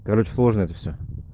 короче сложно это всё